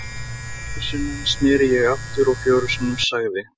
Fjórum sinnum sneri ég aftur og fjórum sinnum sagði